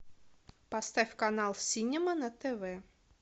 поставь канал синема на тв